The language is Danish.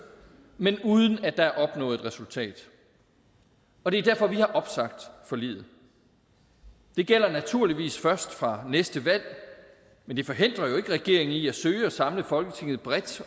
men uden at der er opnået et resultat og det er derfor vi har opsagt forliget det gælder naturligvis først fra næste valg men det forhindrer jo ikke regeringen i at søge at samle folketinget bredt